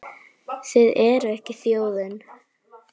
Þið eruð ekki þjóðin!